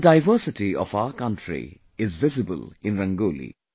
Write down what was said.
The diversity of our country is visible in Rangoli